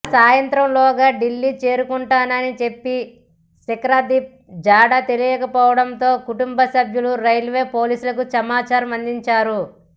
ఆసాయంత్రంలోగా ఢిల్లీ చేరుకుంటానని చెప్పిన శిఖర్దీప్ జాడ తెలియకపోవడంతో కుటుంబసభ్యులు రైల్వే పోలీసులకు సమాచారం అందించారు